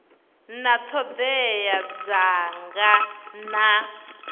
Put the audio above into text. na ṱhoḓea dza nqf na